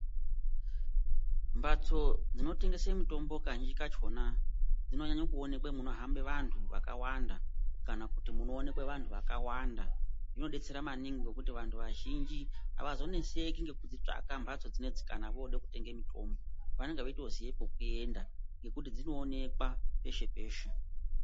Mabts dzinotengese mitombo kazhinji kakhona dzinonyanya kuonekwa munohamba vantu vakawanda kana kuti munoonekwe vantu vakawanda zvinodetsera maningi ngekuti vantu vazhinji avazoneseki ngekudzitsvaka mbatso dzinedzi kana vode kutenga mitombo vanenge veitoziye pekuyenda nekuti dzinoonekwa peshe peshe.